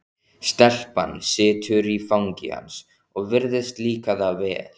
Stelpan situr í fangi hans og virðist líka það vel.